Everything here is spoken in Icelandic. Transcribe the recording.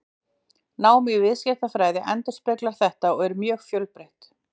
nám í viðskiptafræði endurspeglar þetta og er mjög fjölbreytt